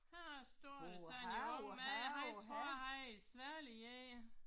Her står sådan en ung mand jeg tror han er en sværlig én